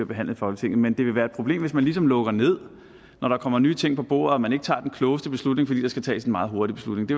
behandling i folketinget men det vil være et problem hvis man ligesom lukker ned når der kommer nye ting på bordet og man ikke tager den klogeste beslutning fordi der skal tages en meget hurtig beslutning det